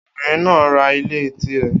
Obìnrin náà ra ilé tirẹ̀.